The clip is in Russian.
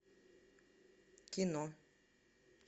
кино